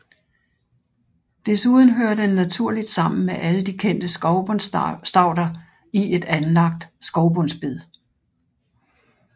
Desuden hører den naturligt sammen med alle de kendte skovbundsstauder i et anlagt skovbundsbed